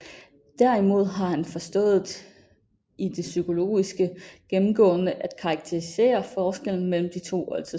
Derimod har han forstået i det psykologiske gennemgående at karakterisere forskellen mellem de to oldtidsfolk